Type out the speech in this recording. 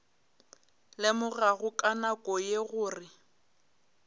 lemogago ka nako ye gore